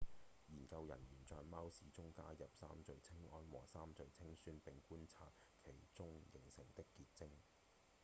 研究人員在貓尿中加入三聚氰胺和三聚氰酸並觀察其中形成的結晶